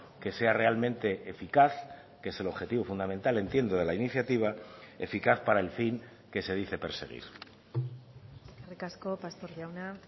que sea realmente eficaz que es el objetivo fundamental entiendo de la iniciativa eficaz para el fin que se dice perseguir eskerrik asko pastor jauna